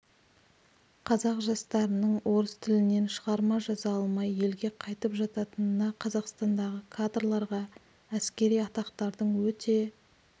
қазақ жастарының орыс тілінен шығарма жаза алмай елге қайтып жататынына қазақстандағы кадрларға әскери атақтардың өте